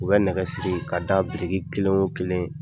U bɛ nɛgɛ siri ka da biriki kelen o kelen